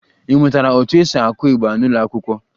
Ị mụtara otú e si aku igba n'ụlọ akwụkwọ?